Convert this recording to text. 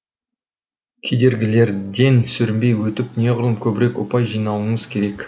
кедергілерден сүрінбей өтіп неғұрлым көбірек ұпай жинауыңыз керек